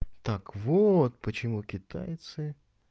так вот почему китайцы